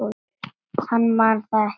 Hann man það ekki.